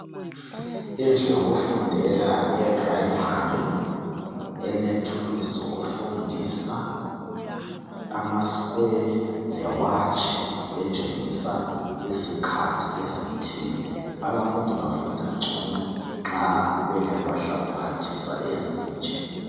Indlu yokufundela eyePrimary elethuluzi zokufundisa amasquare lewatshi etshengisa isikhathi esithile. Abafundi bafunda ngcono nxa kuyikuthi nxa belempahlakuphathisa ezinje.